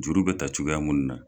Juru bɛ ta cogoya munnu na.